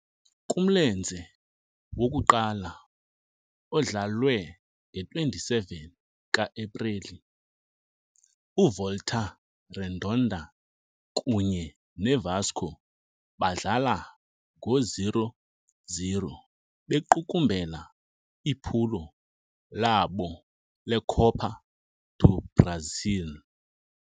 Kumlenze wokuqala, odlalwe nge-27 ka-Epreli, uVolta Redonda kunye neVasco badlala ngo-0-0, bequkumbela iphulo labo leCopa do Brasil.